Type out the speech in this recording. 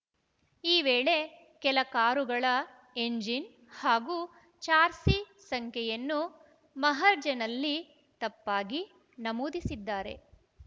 ಈ ವೇಳೆ ಕೆಲ ಕಾರುಗಳ ಎಂಜಿನ್‌ ಹಾಗೂ ಚಾರ್ಸಿ ಸಂಖ್ಯೆಯನ್ನು ಮಹಜರ್‌ನಲ್ಲಿ ತಪ್ಪಾಗಿ ನಮೂದಿಸಿದ್ದಾರೆ